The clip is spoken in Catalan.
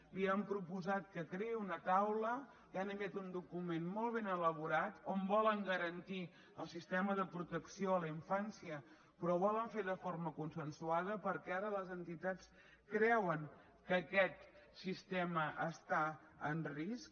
li han proposat que creï una taula li han enviat un document molt ben elaborat on volen garantir el sistema de protecció a la infància però ho volen fer de forma consensuada perquè ara les entitats creuen que aquest sistema està en risc